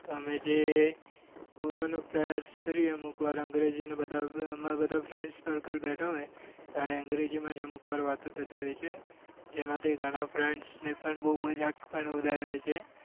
તમે જે બોલવા નો પ્રયાસ કરીએ અમુક વાર અમાર અંગ્રેજી ને બધા અમાર બધા friends circle બેઠા હોય ત્યારે અંગ્રેજી માં જ અમુકવાર વાતો થતી હોય છે જેમાં થી ગણા friends પણ બઉ મજાક પણ ઉડાવીએ છીએ